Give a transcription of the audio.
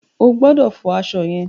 O ò gbọdọ̀ fọ aṣọ yẹn.